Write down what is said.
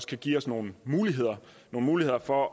kan give os nogle muligheder muligheder for